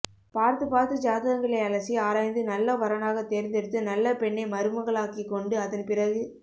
பார்த்து பார்த்து ஜாதகங்களை அலசி ஆராய்ந்து நல்ல வரனாகத் தேர்ந்தெடுத்து நல்ல பெண்ணை மருமகளாக்கிக் கொண்டு அதன் பிறகு